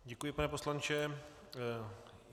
Děkuji, pane poslanče.